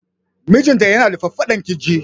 Mijinta ya na da faffadan kirji